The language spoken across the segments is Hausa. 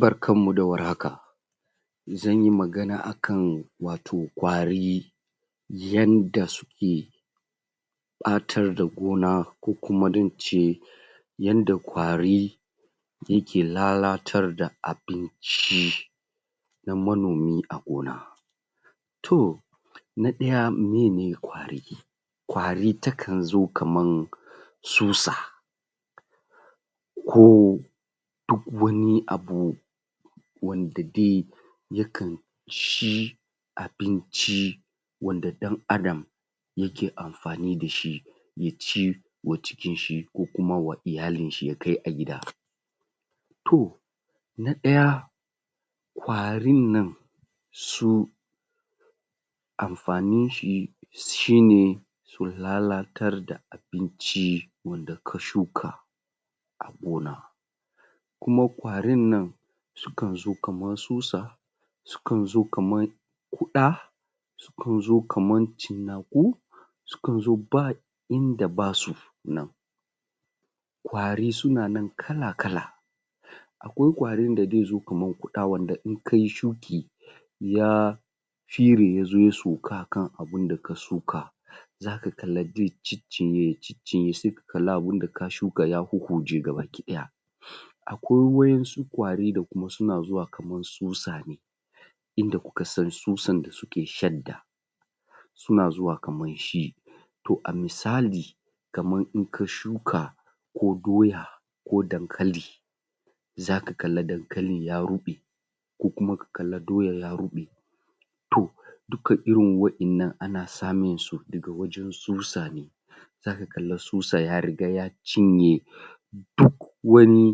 Barkanmu da warhaka zanyi magana akan wato ƙwarii yanda suke ɓatar da gona ko kuma yanda ƙwarii yake lalatar da abincii na manomi a gona tohh! Na ɗaya; meye ne ƙwarii ƙwari ta kan zo kaman tsusa koh duk wani abu wanda dai ya kan cii abincii wanda ɗan adam yake amfani dashi yaci wa cikin shi ko kuma wa iyalin shi ya kai a gida toh na ɗaya; ƙwarin nan su amfanin shi shi ne ko lalatar da abinci wanda ka shuka a gona kuma ƙwarin nan su kan zo kaman tsusa su kan zo kaman kun zo kaman cinnaaku su kan zo ba inda ba su nan ƙwari suna nan kala-kala akwai ƙwarin da zai zo kamar ƙuda wanda in kayi shuuki yaa yazo ya sauka akan abinda ka shuka zaka kalla zai ciccinye ya ciccinye sai kalla abinda ka shuka ya huhhuje gabaki ɗaya akwai wa'in su ƙwari da kuma suna zuwa kaman tsutsa ne inda ku ka san tsutsan da suke shaddaa suna zuwa kaman shi toh a misali kaman in ka shuka ko doya ko dankali zaka kalla dankalin ya ruɓe ko kuma ka kalla doyan ya ruɓe toh duka irin wa'in nan ana samin su daga wajen tsutsa ne zaka kalla tsutsa ya ri ga ya cinye duk wani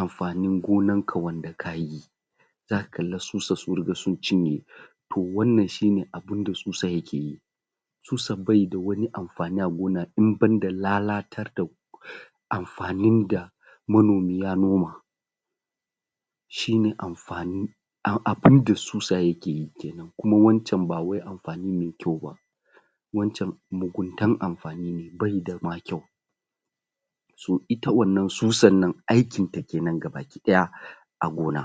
amfanin gonan ka wanda kaayi zaka kalla tsutsa sun ruga sun cinye toh wannan shi ne abunda tsutsa yake yi tsutsa bai da wani amfani a gona in banda lalatar da amfanin da manomi ya noma shi ne amfani a abinda tsutsa yake yi kenan kuma wancan ba wai amfani mai kyau ba wancan muguntan amfani ne bai da ma kyau toh ita wannan tsutsan nan aikin ta kenan gabaki ɗaya a gona